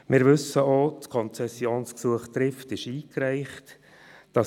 Wir wissen auch, dass das Konzessionsgesuch «Trift» eingereicht ist.